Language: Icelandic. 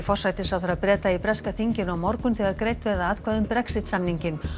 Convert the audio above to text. forsætisráðherra Breta í breska þinginu á morgun þegar greidd verða atkvæði um Brexit samninginn